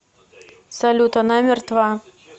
салют она мертва